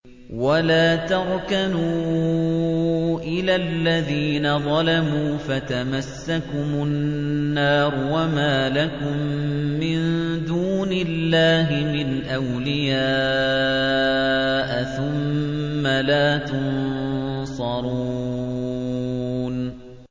وَلَا تَرْكَنُوا إِلَى الَّذِينَ ظَلَمُوا فَتَمَسَّكُمُ النَّارُ وَمَا لَكُم مِّن دُونِ اللَّهِ مِنْ أَوْلِيَاءَ ثُمَّ لَا تُنصَرُونَ